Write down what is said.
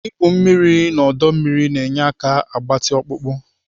Igwu mmiri n'ọdọ mmiri na-enye aka agbatị ọkpụkpọ.